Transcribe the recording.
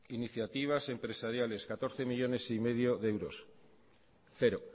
iniciativas empresariales catorce coma cinco millónes de euros cero